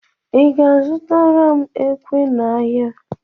Ị ga-azụtara m ekwe n'ahịa?